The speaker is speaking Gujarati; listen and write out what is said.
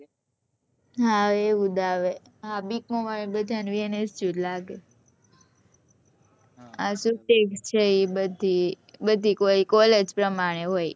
હા એવું જ આવે હા bcom વાળા ને બધા ને hngu જ લાગે બધી college પરમાણે હોય